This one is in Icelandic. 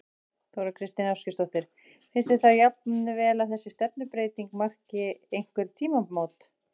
Þóra Kristín Ásgeirsdóttir: Finnst þér þá jafnvel að þessi stefnubreyting marki einhver tímamót?